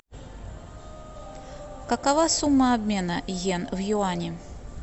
какова сумма обмена йен в юани